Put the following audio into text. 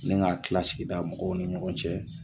Nin k'a tila sigida mɔgɔw ni ɲɔgɔn cɛ